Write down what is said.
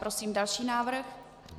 Prosím další návrh.